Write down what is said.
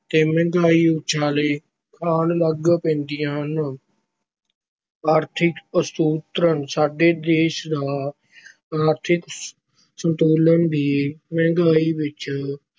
ਤੇ ਮਹਿੰਗਾਈ ਉਛਾਲੇ ਖਾਣ ਲੱਗ ਪੈਂਦੀਆਂ ਹੈ। ਆਰਥਕ ਅਸੰਤੁਲਨ - ਸਾਡੇ ਦੇਸ਼ ਦਾ ਆਰਥਕ ਅਸੰਤੁਲਨ ਵੀ ਮਹਿੰਗਾਈ ਵਿੱਚ